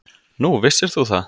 Nú, vissir þú það?